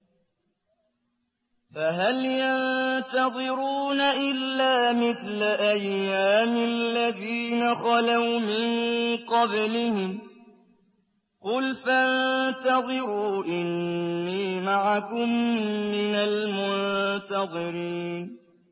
فَهَلْ يَنتَظِرُونَ إِلَّا مِثْلَ أَيَّامِ الَّذِينَ خَلَوْا مِن قَبْلِهِمْ ۚ قُلْ فَانتَظِرُوا إِنِّي مَعَكُم مِّنَ الْمُنتَظِرِينَ